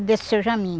Desse Seu Jamin.